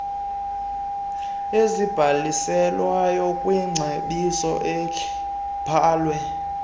ezibhalisiweyo kwicebiso elibhalwe